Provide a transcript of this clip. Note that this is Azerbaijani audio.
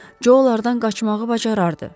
Co onlardan qaçmağı bacarardı.